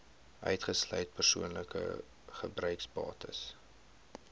uitgesluit persoonlike gebruiksbates